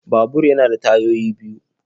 Babur yana da tayoyi biyu.